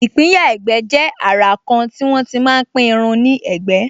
ìpínyà ẹ̀gbẹ́ jẹ́ àrà kan tí wọ́n tí máa pín irun ní ẹ̀gbẹ́